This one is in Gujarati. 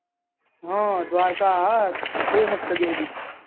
હા દ્વારકા હા બહુ મસ્ત જગ્યા એ બી